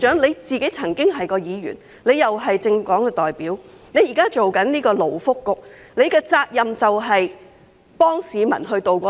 羅致光局長曾經是一名議員，也是政黨代表，現在擔任勞工及福利局局長，責任是幫市民渡過難關。